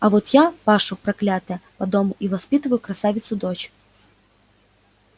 а вот я пашу проклятая по дому и воспитываю красавицу дочь